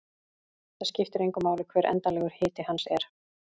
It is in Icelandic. Það skiptir engu máli hver endanlegur hiti hans er.